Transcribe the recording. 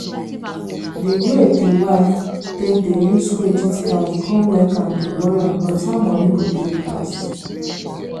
di way di wife take dey use credit card come make am dey worry about how money go take last.